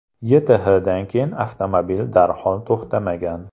YTHdan keyin avtomobil darhol to‘xtamagan.